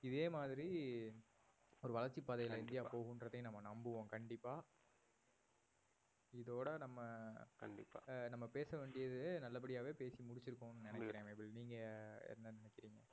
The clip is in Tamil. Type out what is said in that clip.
இதேமாதிரி ஒரு வளர்ச்சி பாதையில இந்திய போகும்றதையும் நம்ம நம்புவோம் கண்டிப்பா இதோட நம்ம அஹ் நம்ம பேச வேண்டியதே நல்லபடியாவே பேசி முடிச்சிருக்கோம்னு நினைக்கிறேன் நேபில் நீங்க என்ன நினைக்கறீங்க?